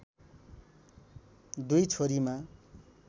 दुई छोरीमा